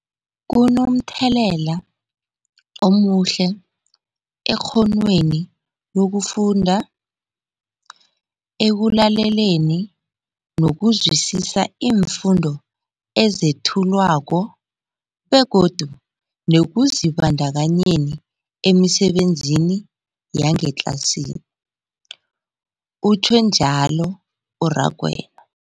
Kunomthelela omuhle ekghonweni lokufunda, ekulaleleni nokuzwisiswa iimfundo ezethulwako begodu nekuzibandakanyeni emisebenzini yangetlasini, utjhwe njalo u-Rakwena.